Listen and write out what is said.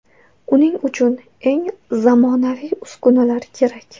Uning uchun eng zamonaviy uskunalar kerak.